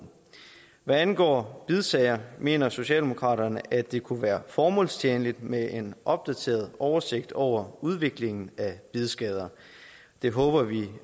hvad angår bidsager mener socialdemokratiet at det kunne være formålstjenligt med en opdateret oversigt over udviklingen af bidskader det håber vi